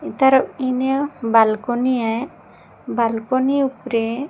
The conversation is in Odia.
ତାର ବାଲକୋନୀ ୟ ବାଲକୋନୀ ଉପରେ --